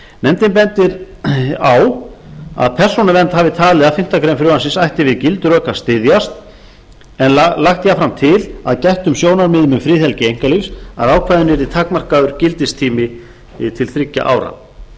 nefndin bendir á að persónuvernd hafi talið að fimmtu grein frumvarpsins ætti við gild rök að styðjast en lagt jafnframt til að gættum sjónarmiðum um friðhelgi einkalífs að ákvæðinu yrði takmarkaður gildistími til þriggja ára